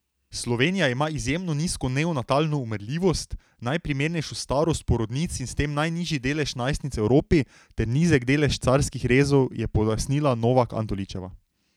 Slovenija ima izjemno nizko neonatalno umrljivost, najprimernejšo starost porodnic in pri tem najnižji delež najstnic v Evropi ter nizek delež carskih rezov, je pojasnila Novak Antoličeva.